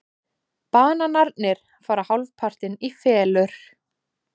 Bananarnir fara hálfpartinn í felur.